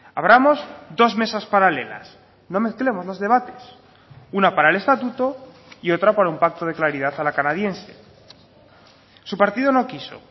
abramos dos mesas paralelas no mezclemos los debates una para el estatuto y otra para un pacto de claridad a la canadiense su partido no quiso